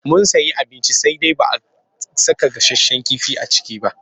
Mun sayi abinci sai dai ba a saka gasasshen kifi a ciki ba.